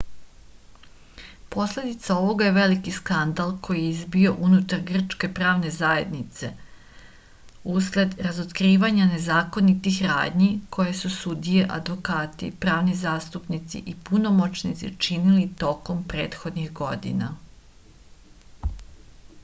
posledica ovoga je veliki skandal koji je izbio unutar grčke pravne zajednice usled razotkrivanja nezakonitih radnji koje su sudije advokati pravni zastupnici i punomoćnici činili tokom prethodnih godina